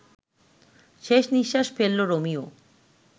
শেষ নিশ্বাস ফেলল রোমিও